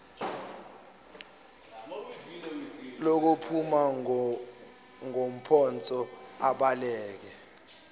lokuphuma ngopotsho abaleke